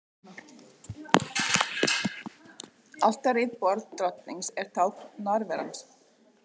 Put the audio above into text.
Altarið, borð Drottins, er tákn nærveru hans.